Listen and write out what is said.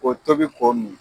Ko tobi ko min